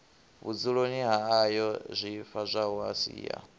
vhudzuloni ha ayoo swifhadzwaho sia